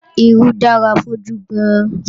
Irú dára fójú gan-an